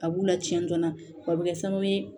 A b'u lacɛn joona o bɛ kɛ sababu ye